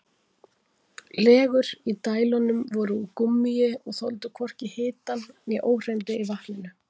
Legur í dælunum voru úr gúmmíi og þoldu hvorki hitann né óhreinindi í vatninu.